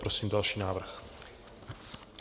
Prosím další návrh.